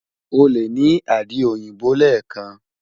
o le ni adi oyinbo lẹẹkan